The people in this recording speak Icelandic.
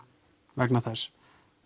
vegna þess